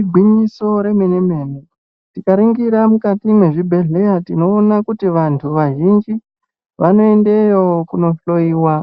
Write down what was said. Igwinyiso remene-mene, tikaringira mukati mwezvibhedhlera, tinoona kuti vanthu vazhinji, vanoendeyo kunohloiwa,